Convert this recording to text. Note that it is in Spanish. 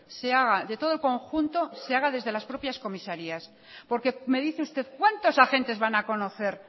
se haga de todo el conjunto se haga desde las propias comisarías porque me dice usted cuántos agentes van a conocer